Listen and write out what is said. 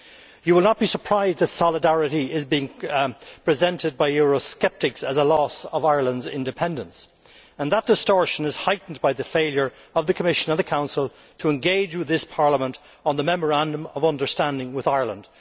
You will not be surprised that solidarity is being presented by Eurosceptics as a loss of Ireland's independence. That distortion is heightened by the failure of the Commission and the Council to engage with this Parliament on the Memorandum of Understanding with Ireland.